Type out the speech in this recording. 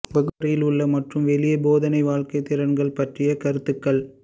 வகுப்பறையில் உள்ள மற்றும் வெளியே போதனை வாழ்க்கை திறன்கள் பற்றிய கருத்துக்கள்